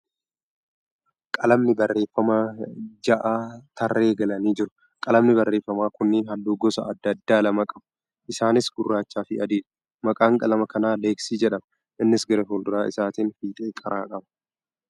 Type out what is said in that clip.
Qalamni barreeffamaa ja'a tarree galanii jiru. Qalamni barreeffamaa kunneen halluu gosa adda addaa lama qabu. Isaaniis gurraachaa fi adiidha. Maqaan qalama kanaa leeksii jedhama. Innis gara fuuldura isaatiin fiixee qara qaba.